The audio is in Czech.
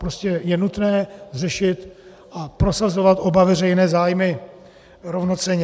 Prostě je nutné řešit a prosazovat oba veřejné zájmy rovnocenně.